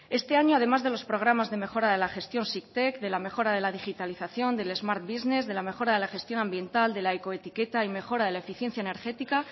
este año además de los programas de mejora de la gestión sicted de la mejora de la digitalización del smart business de la mejora de la gestión ambiental de la ecoetiqueta y mejora de la eficiencia energética